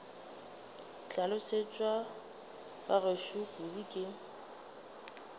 hlolosetšwe ba gešo kudu ke